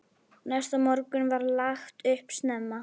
Næsta morgun var lagt upp snemma.